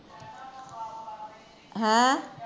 ਹੈਂ